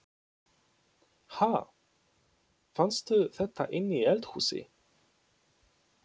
Ha! Fannstu þetta inni í eldhúsi?